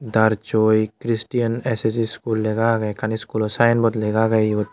darchoi cristien es es iskul lega agey ekkan iskulo synbot lega agey yot.